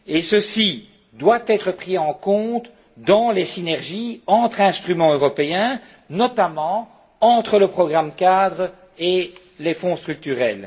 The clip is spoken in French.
Ceci doit être pris en compte dans les synergies entre instruments européens, et notamment entre le programme cadre et les fonds structurels.